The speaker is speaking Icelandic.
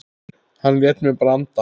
Hann lét mig bara anda.